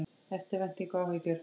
Eftirvænting og áhyggjur